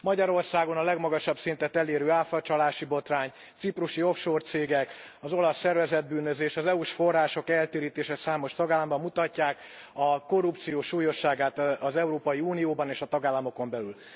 Magyarországon a legmagasabb szintet elérő áfacsalási botrány, ciprusi offshore cégek, az olasz szervezett bűnözés, az EU s források eltérítése számos tagállamban mutatják a korrupció súlyosságát az Európai Unióban és a tagállamokon belül.